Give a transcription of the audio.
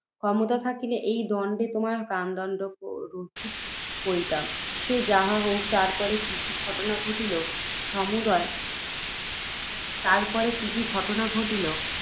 ক্ষমতা থাকিলে, এই দণ্ডে, তোমার প্রাণদণ্ড রহিত করিতাম। সে যাহা হউক, তারপরে কি কি ঘটনা ঘটিল সমদয়ে তারপরে কি কি ঘটনা ঘটিল